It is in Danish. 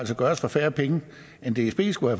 gøres for færre penge end dsb skulle